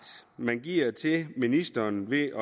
man giver til ministeren ved